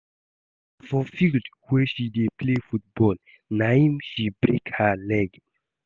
Na for field where she dey play football na im she break her leg